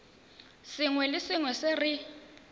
sengwe le sengwe se re